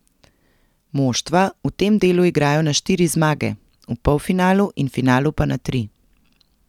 Moštva v tem delu igrajo na štiri zmage, v polfinalu in finalu pa na tri.